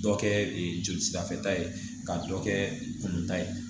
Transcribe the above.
Dɔ kɛ joli sira fɛ ta ye ka dɔ kɛ kun ta ye